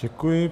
Děkuji.